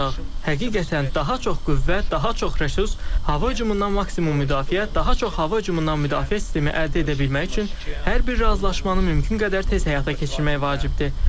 Həqiqətən, daha çox qüvvə, daha çox resurs, hava hücumundan maksimum müdafiə, daha çox hava hücumundan müdafiə sistemi əldə edə bilmək üçün hər bir razılaşmanı mümkün qədər tez həyata keçirmək vacibdir.